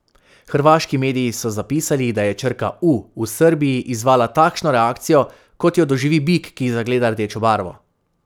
Hrvaški mediji so zapisali, da je črka U v Srbiji izzvala takšno reakcijo, kot jo doživi bik, ki zagleda rdečo barvo.